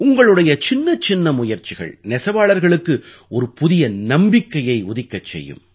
உங்களுடைய சின்னச்சின்ன முயற்சிகள் நெசவாளர்களுக்கு ஒரு புதிய நம்பிக்கையை உதிக்கச் செய்யும்